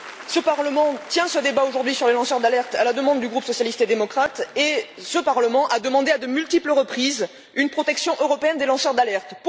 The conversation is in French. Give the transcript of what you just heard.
Le Parlement tient ce débat aujourd'hui sur les lanceurs d'alerte à la demande du groupe socialiste et démocrate et a demandé à de multiples reprises une protection européenne des lanceurs d'alerte.